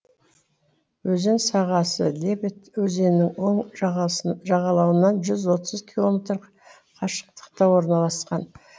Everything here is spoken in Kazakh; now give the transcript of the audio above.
өзен сағасы лебедь өзенінің оң жағалауынан жүз отыз километр қашықтықта орналасқан